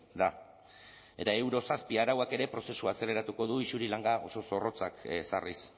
da eta euro zazpi arauak ere prozesua azeleratuko du isuri langa oso zorrotzak ezarriz